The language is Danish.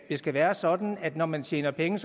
skal være sådan at når man tjener penge